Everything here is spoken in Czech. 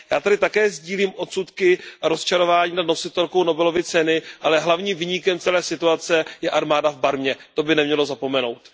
Já tedy také sdílím odsudky a rozčarování nad nositelkou Nobelovy ceny, ale hlavním viníkem celé situace je armáda v Barmě, to bychom neměli zapomenout.